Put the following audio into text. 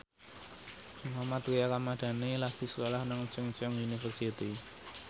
Mohammad Tria Ramadhani lagi sekolah nang Chungceong University